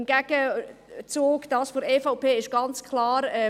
Im Gegenzug, beim Vorschlag der EVP ist ganz klar: